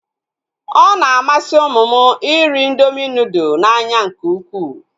Ọ na-amasị ụmụ m iri indoomị nudụ n'anya nke ukwuu